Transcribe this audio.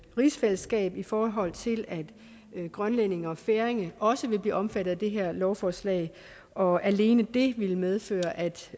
rigsfællesskab i forhold til at grønlændere og færinger også vil blive omfattet af det her lovforslag og alene det ville medføre at